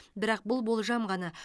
бірақ бұл болжам ғана